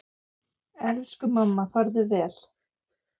Elsku mamma, farðu vel.